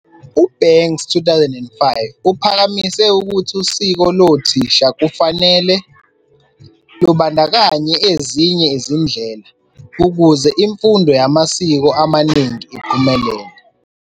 U-Banks 2005 uphakamise ukuthi usiko lo thisha kufanele, lubandakanye ezinye izindlela ukuze imfundo yamasiko amaningi iphumelele.